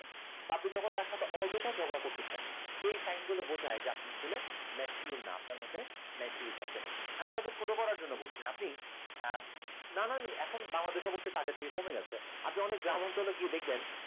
আপনি যখন তার সাথে অযথা ঝগড়া করতেছেন এই sign গুলো বোঝায় আপনি আসলে mature না আপনার মধ্যে maturity আসেনি আমি কাউকে ছোট করার জন্য বলছি না আপনি নানান বাংলাদেশে অবশ্যই এটা আগের থেকে কমে গেছে আপনি অনেক গ্রাম অঞ্চলে গিয়ে দেখবেন